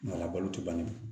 A labalo t'u la